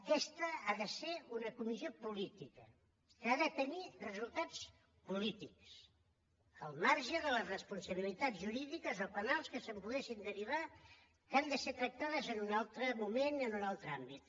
aquesta ha de ser una comissió política que ha de tenir resultats polítics al marge de les responsabilitats jurídiques o penals que se’n poguessin derivar que han de ser tractades en un altre moment i en un altre àmbit